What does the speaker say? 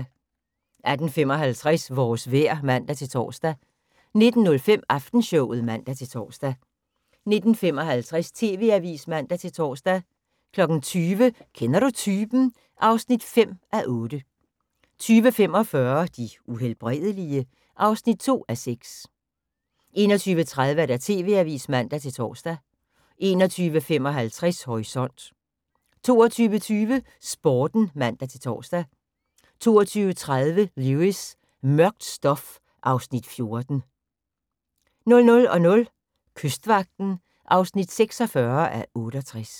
18:55: Vores vejr (man-tor) 19:05: Aftenshowet (man-tor) 19:55: TV-avisen (man-tor) 20:00: Kender du typen? (5:8) 20:45: De Uhelbredelige? (2:6) 21:30: TV-avisen (man-tor) 21:55: Horisont 22:20: Sporten (man-tor) 22:30: Lewis: Mørkt stof (Afs. 14) 00:00: Kystvagten (46:68)